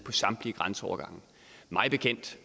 samtlige grænseovergange mig bekendt